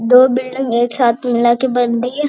दो बिल्डिंग छत्त मिलके बनती है।